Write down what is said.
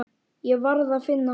Ég varð að finna hann.